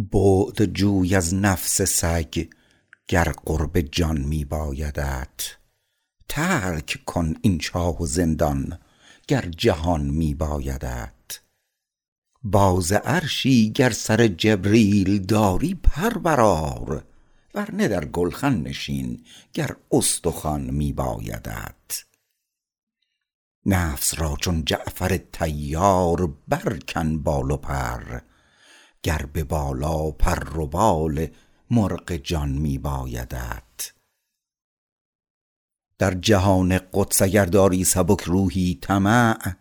بعد جوی از نفس سگ گر قرب جان می بایدت ترک کن این چاه و زندان گر جهان می بایدت باز عرشی گر سر جبریل داری پر برآر ورنه در گلخن نشین گر استخوان می بایدت نفس را چون جعفر طیار برکن بال و پر گر به بالا پر و بال مرغ جان می بایدت در جهان قدس اگر داری سبک روحی طمع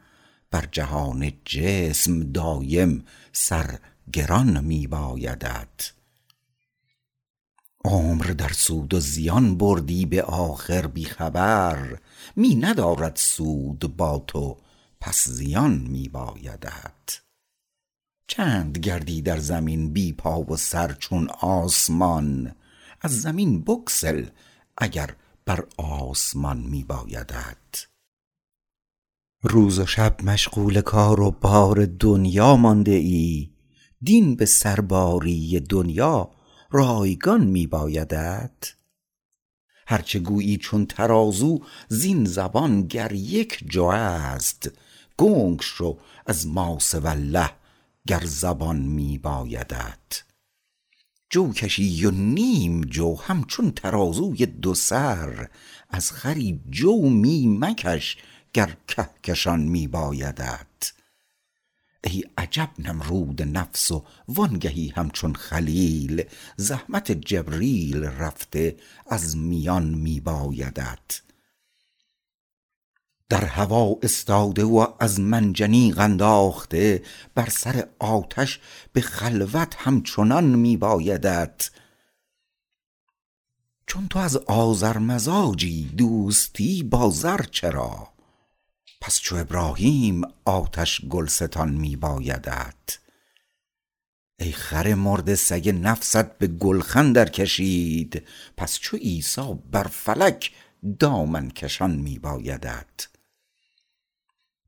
بر جهان جسم دایم سر گران می بایدت عمر در سود و زیان بردی به آخر بی خبر می ندارد سود با تو پس زیان می بایدت چند گردی در زمین بی پا و سر چون آسمان از زمین بگسل اگر بر آسمان می بایدت روز و شب مشغول کار و بار دنیا مانده ای دین به سرباری دنیا رایگان می بایدت هرچه گویی چون ترازو زین زبان گر یک جو است گنگ شو از ما سوی الله گر زبان می بایدت جو کشی و نیم جو همچون ترازوی دو سر از خری جو می مکش گر کهکشان می بایدت ای عجب نمرود نفس و وانگهی همچون خلیل زحمت جبریل رفته از میان می بایدت در هوا استاده و از منجنیق انداخته بر سر آتش به خلوت همچنان می بایدت چون تو از آذر مزاجی دوستی با زر چرا پس چو ابراهیم آتش گلستان می بایدت ای خر مرده سگ نفست به گلخن در کشید پس چو عیسی بر فلک دامن کشان می بایدت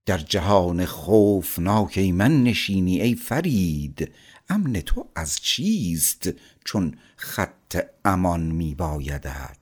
در جهان خوفناک ایمن نشینی ای فرید امن تو از چیست چون خط امان می بایدت